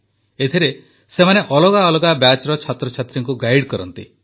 ଏଥିରେ ସେମାନେ ଅଲଗା ଅଲଗା ବ୍ୟାଚ୍ର ଛାତ୍ରଛାତ୍ରୀଙ୍କୁ ଗାଇଡ୍ କରନ୍ତି